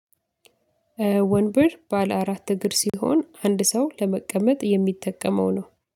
ወንበር ባለ አራት እግር ሲሆን አንድ ሰው ለመቀመጥ የሚጠቀመው ነው።